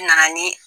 N nana ni